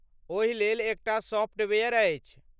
ओहिलेल एकटा सॉफ्टवेयर अछि।